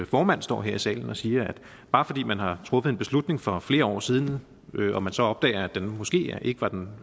formand står her i salen og siger at bare fordi man har truffet en beslutning for flere år siden og man så opdager at den nu måske ikke var den